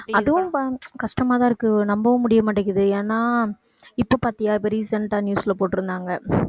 அதுவும் ப~ கஷ்டமா தான் இருக்கு, நம்பவும் முடிய மாட்டேங்குது. ஏன்னா இப்ப பாத்தியா இப்ப recent ஆ news ல போட்டுருந்தாங்க